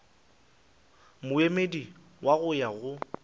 moemedi wa go ya go